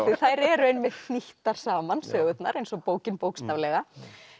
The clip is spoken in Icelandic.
þær eru einmitt hnýttar saman sögurnar eins og bókin bókstaflega